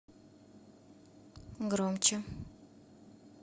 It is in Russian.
громче